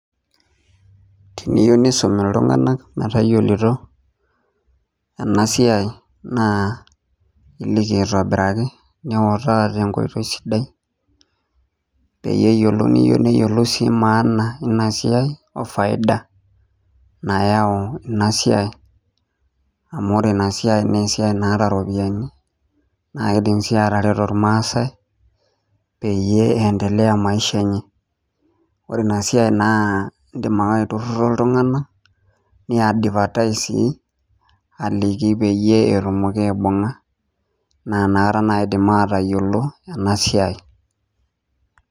Teniyieu nisum iltung'ana netayiolito ena siai naa eliki aitobiraki nitaa tenkoitoi sidai pee eyiolou neyiolou sii maana ena siai oo faida nayau ena siai amu ore ena siai naa esiai naata eropiani naa kidim sii atareto irmaasai peyie endelea esiai enye ore ena siai naa edim ake aitururu iltung'ana nii advertise sii aliki peyie etumoki aibung'a naa enakata najii edim atayiolo ena siai.